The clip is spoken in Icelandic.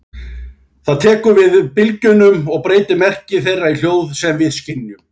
Það tekur við bylgjunum og breytir merki þeirra í hljóð sem við skynjum.